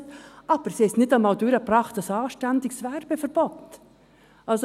Sie haben aber nicht einmal ein anständiges Werbeverbot durchgebracht!